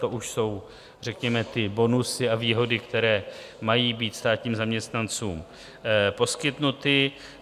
To už jsou řekněme ty bonusy a výhody, které mají být státním zaměstnancům poskytnuty.